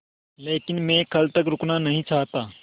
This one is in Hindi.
लेकिन मैं कल तक रुकना नहीं चाहता